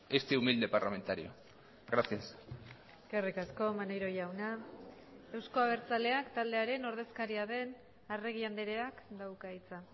este humilde parlamentario gracias eskerrik asko maneiro jauna euzko abertzaleak taldearen ordezkaria den arregi andreak dauka hitza